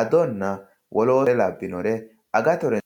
adonna wole wole labbinore agattote.